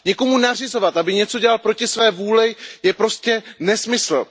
Někomu nařizovat, aby něco dělal proti své vůli, je prostě nesmysl.